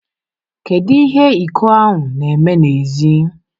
Kedu ihe iko ahụ na-eme n'èzí?